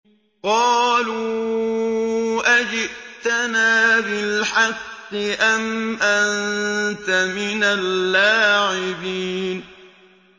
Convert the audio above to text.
قَالُوا أَجِئْتَنَا بِالْحَقِّ أَمْ أَنتَ مِنَ اللَّاعِبِينَ